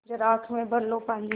ज़रा आँख में भर लो पानी